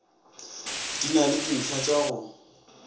di na le dintlhatša go